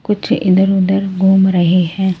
कुछ इधर-उधर घूम रहे हैं।